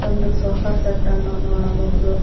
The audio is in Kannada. ಒಂದು ಸೋಫಾ ಸೆಟ್ ಅನ್ನು ನೋಡಬಹುದು.